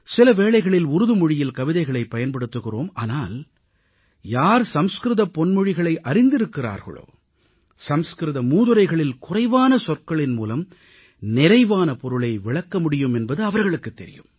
சில வேளைகளில் உருதுமொழியில் கவிதைகளைப் பயன்படுத்துகிறோம் ஆனால் யார் சமஸ்கிருத பொன்மொழிகளை அறிந்திருக்கிறார்களோ சமஸ்கிருத மூதுரைகளில் குறைவான சொற்களின் மூலம் நிறைவான பொருளை விளக்க முடியும் என்பது அவர்களுக்குத் தெரியும்